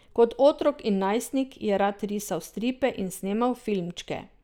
Kot otrok in najstnik je rad risal stripe in snemal filmčke.